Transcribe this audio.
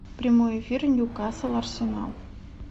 прямой эфир ньюкасл арсенал